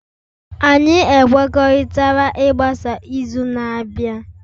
anyị ekwekọrịtala ịgbasa izu na-abịa